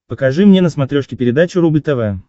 покажи мне на смотрешке передачу рубль тв